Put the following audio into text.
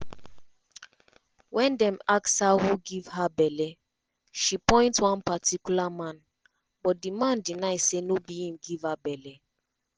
wen dem ask her who give her belle she point one particular man but di man deny say no be im give her belle.